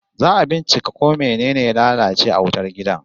Za'a bincika ko mene ne ya lalace a wutar gidan